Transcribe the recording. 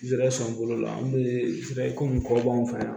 Zɛrɛsɔn bolo la an be sira ko nin kɔ bɔ an fɛ yan